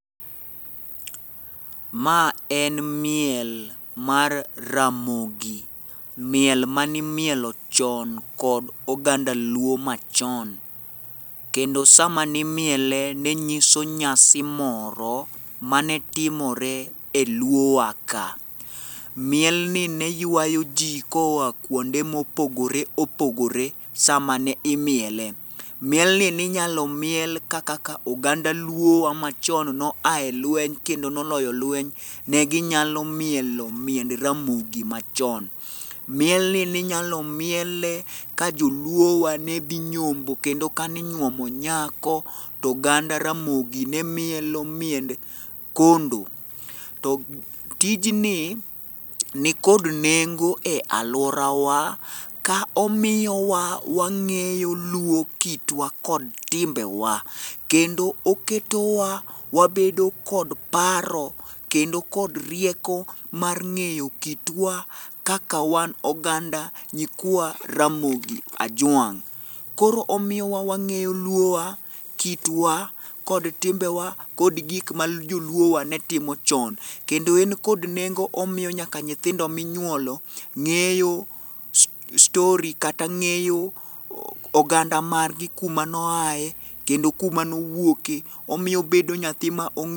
Ma en miel mar ramogi ,miel manimielo chon kod oganda luo machon kendo sama nimiele, ne nyiso nyasi moro manetimore e luowa ka. Mielni ne ywayo ji koa kwonde mopogore opogore sama ne imiele. Mielni ninyalo miel kaka oganda luowa machon noa e lweny kendo noloyo lweny, ne ginyalo mielo miend ramogi machon. Mielni ninyalo miele ka joluowa nedhi nyombo kendo kani nywomo nyako, to oganda ramogi ne mielo miende kondo, To tijni nikod nengo e alworawa ka omiyowa wang'eyo luo kitwa kod timbewa, kendo oketowa wabedo kod paro kendo kod rieko mar ng'eyo kitw kaka wan oganda nyikwa ramogi ajwang' . Koro omiyowa wang'eyo luowa, kitwa kod timbewa kod gik ma joluo wa netimo chon, kendo en kod nengo omiyo nyaka nyithindo minyuolo ng'eyo story kata ng'eyo oganda margi kuma noaye, kendo kuma nowuoke, omiyo obedo nyathi ma ong'eyo.